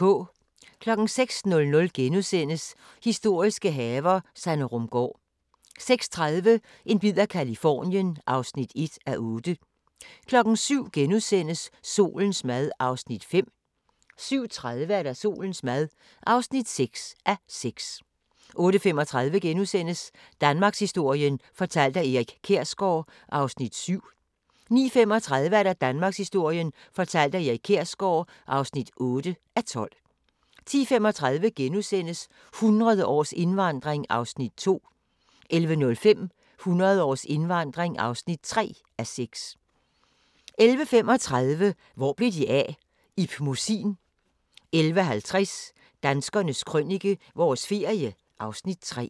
06:00: Historiske haver - Sanderumgaard * 06:30: En bid af Californien (1:8) 07:00: Solens mad (5:6)* 07:30: Solens mad (6:6) 08:35: Danmarkshistorien fortalt af Erik Kjersgaard (7:12)* 09:35: Danmarkshistorien fortalt af Erik Kjersgaard (8:12) 10:35: 100 års indvandring (2:6)* 11:05: 100 års indvandring (3:6) 11:35: Hvor blev de af? - Ib Mossin 11:50: Danskernes Krønike – vores ferie (Afs. 3)